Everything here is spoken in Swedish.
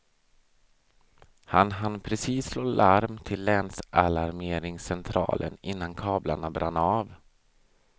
Han hann precis slå larm till länsalarmeringscentralen innan kablarna brann av.